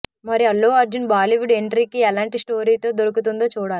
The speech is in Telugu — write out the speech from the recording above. మరి అల్లు అర్జున్ బాలీవుడ్ ఎంట్రీకి ఎలాంటి స్టోరీతో దొరకుతుందో చూడాలి